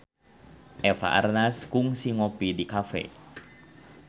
Eva Arnaz kungsi ngopi di cafe